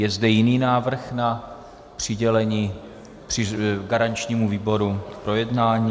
Je zde jiný návrh na přidělení garančnímu výboru k projednání?